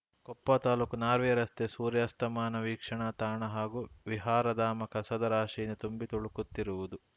ಕೊಪ್ಪ ತಾಲ್ಲೂಕು ನಾರ್ವೆ ರಸ್ತೆಯ ಸೂರ್ಯಾಸ್ತಮಾನ ವೀಕ್ಷಣಾ ತಾಣ ಹಾಗೂ ವಿಹಾರಧಾಮ ಕಸದ ರಾಶಿಯಿಂದ ತುಂಬಿ ತುಳುಕುತ್ತಿರುವುದು